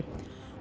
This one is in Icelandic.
og